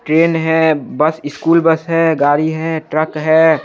Train है bus school bus है गाड़ी है ट्रक है।